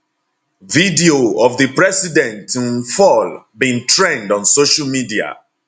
video of di president um fall bin trend on social media